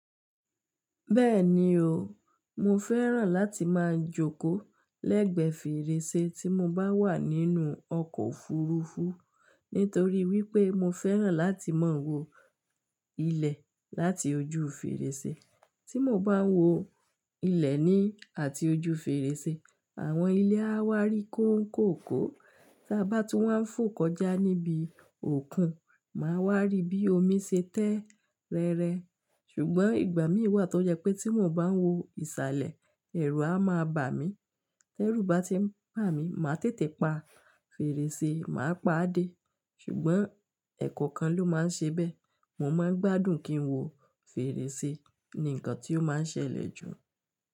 Bẹ́ẹ̀ni o, mo fẹ́ràn láti máa jókòó lẹ́gbẹ̀ẹ́ fèrèsé tí mo bá wà nínú ọkọ̀ òfuurufú nítorí wípé mo fẹ́ràn láti máa wo ilẹ̀ láti ojú fèrèsé. Tí mo bá ń wo ilẹ̀ ni àti ojú fèrèsé, àwọn ilé á wá rí kó ń kòkó, tí a bá tún wá ń fò kọjá níbi òkun, màá wá rí bí omi ṣe tẹ́ rẹrẹ. Ṣùgbọ́n ìgbà mí wà tó jẹ́ pé tí mo bá ń wo ìsàlẹ̀, ẹ̀rù a máa bà mí. Tẹ́rù bá ti ń bà mí, màá tètè pa fèrèsé, màá pàdé. Ṣùgbọ́n ẹ̀kọ́ kan ló máa ń ṣe bẹ́ẹ̀. Mo máa ń gbádùn kí n wo fèrèsé ni nǹkan tí ó máa ń ṣẹlẹ̀ jù.